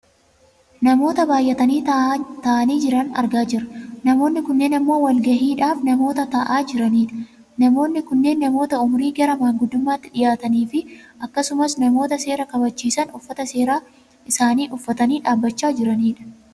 Namoota baayyatanii taa'anii jiran argaa jirra . Namoonni kunneen ammoo walgahiidhaaf namoota taa'aan jiranidha. Namoonni kunneen namoota umurii gara maanguddummaatti dhiyaataniifi akkasumas namoota seera kabachiisan uffata seeraa isaanii uffatanii dhabbachaa jiranidha.